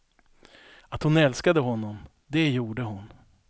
Att hon älskade honom, det gjorde hon.